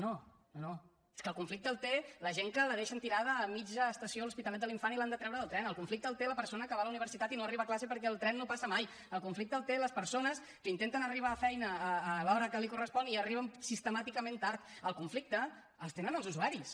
no no no no és que el conflicte el té la gent que la deixen tirada a mitja estació a l’hospitalet de l’infant i l’han de treure del tren el conflicte el té la persona que va a la universitat i no arriba a classe perquè el tren no passa mai el conflicte el tenen les persones que intenten arribar a la feina a l’hora que els correspon i arriben sistemàticament tard el conflicte el tenen els usuaris